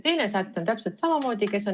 Teise sätte puhul on täpselt samamoodi.